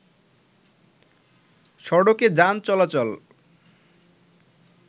সড়কে যান চলাচল